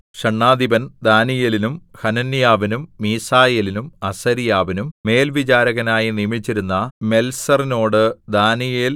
ഷണ്ഡാധിപൻ ദാനീയേലിനും ഹനന്യാവിനും മീശായേലിനും അസര്യാവിനും മേൽവിചാരകനായി നിയമിച്ചിരുന്ന മെൽസറിനോട് ദാനീയേൽ